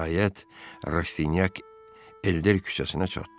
Nəhayət, Rastinyak Elder küçəsinə çatdı.